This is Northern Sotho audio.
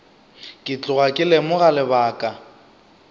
ke tloga ke lemoga lebaka